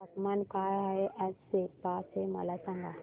तापमान काय आहे आज सेप्पा चे मला सांगा